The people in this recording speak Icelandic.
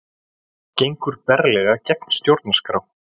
Gengur berlega gegn stjórnarskrá